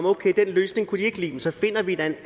okay den løsning kunne de ikke lide men så finder vi da en